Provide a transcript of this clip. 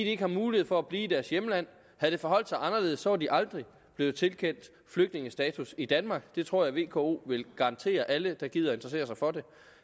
ikke har mulighed for at blive i deres hjemland havde det forholdt sig anderledes var de aldrig blevet tilkendt flygtningestatus i danmark det tror jeg vko vil garantere alle der gider interessere sig for det